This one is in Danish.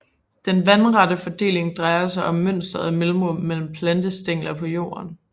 Den vandrette fordeling drejer sig om mønstret af mellemrum mellem plantestængler på jorden